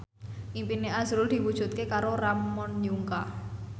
impine azrul diwujudke karo Ramon Yungka